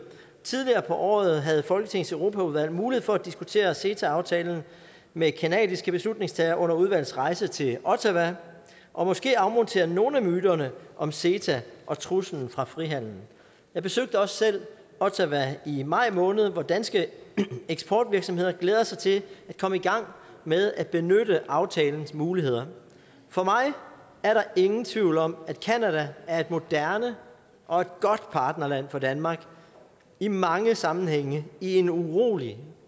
tidligere på året havde folketingets europaudvalg mulighed for at diskutere ceta aftalen med canadiske beslutningstagere under udvalgets rejse til ottawa og måske afmontere nogle af myterne om ceta og truslen fra frihandelen jeg besøgte os selv ottawa i maj måned hvor danske eksportvirksomheder glæder sig til at komme i gang med at benytte aftalens muligheder for mig er der ingen tvivl om at canada er et moderne og et godt partnerland for danmark i mange sammenhænge i en urolig